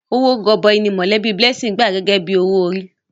Owó gọbọi ni mọ̀lẹ́bí Blessing gbà gẹ́gẹ́ bí owó orí.